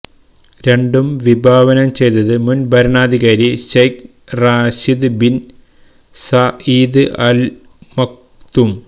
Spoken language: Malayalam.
രണ്ടും വിഭാവനം ചെയ്തത് മുന് ഭരണാധികാരി Sheikh Rashid bin Saeed Al Maktoum